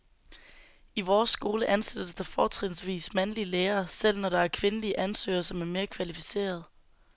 I vores skole ansættes der fortrinsvis mandlige lærere, selv når der er kvindelige ansøgere, som er mere kvalificerede.